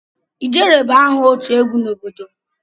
"Ijere"bụ aha otu egwu n'obodo m.